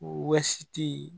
Wɔsi te yen